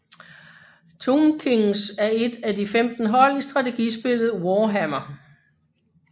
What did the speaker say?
Tomb Kings er et af de 15 hold i strategispillet Warhammer